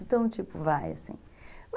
Então, tipo, vai, assim.